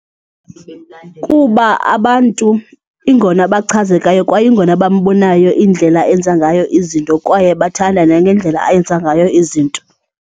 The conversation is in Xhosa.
Kuba abantu ingona bachazekayo kwaye ingona bambonayo indlela enza ngayo izinto kwaye bathanda nangendlela ayenza ngayo izinto.